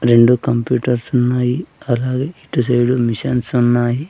రెండు కంప్యూటర్స్ ఉన్నాయి అలాగే ఇటు సైడ్ మిషన్స్ ఉన్నాయి.